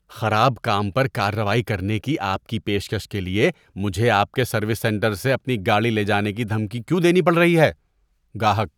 خراب کام پر کارروائی کرنے کی آپ کی پیشکش کے لیے مجھے آپ کے سروس سینٹر سے اپنی گاڑی لے جانے کی دھمکی کیوں دینی پڑ رہی ہے؟ (گاہک)